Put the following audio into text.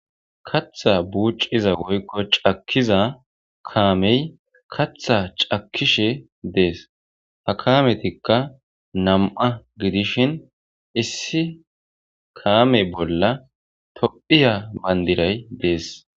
Katha buucciza woykko cakkiza kaamey katha cakkishe dees ha kaametikka nam'a gidishin issi kaame bolla tophiya bandiray dees.